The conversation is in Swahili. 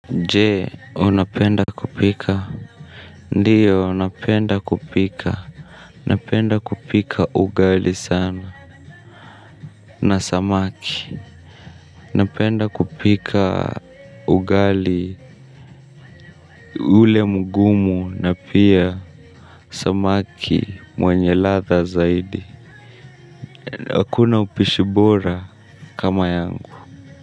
Je, unapenda kupika? Ndiyo, unapenda kupika. Napenda kupika ugali sana na samaki. Napenda kupika ugali ule mgumu na pia samaki mwenye ladha zaidi. Hakuna upishi bora kama yangu.